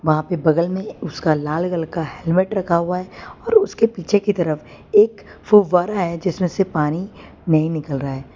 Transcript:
वहा पे बगल में उसका लाल कलर का हेल्मेट रखा हुआ है और उसके पीछे की तरफ एक फव्वारा है जिसमें पानी नही निकल रहा है।